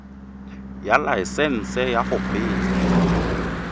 ya laesesnse ya go kgweetsa